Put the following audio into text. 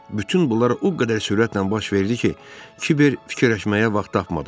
Bütün bunlar o qədər sürətlə baş verdi ki, Kiber fikirləşməyə vaxt tapmadı.